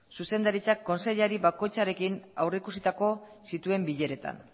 zuzendaritza kontseilari bakoitzarekin aurrikusiko zituen bileretan